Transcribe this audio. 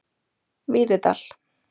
Víðidal